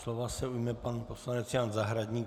Slova se ujme pan poslanec Jan Zahradník.